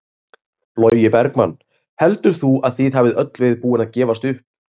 Logi Bergmann: Heldur þú að þið hafið öll verið búin að gefast upp?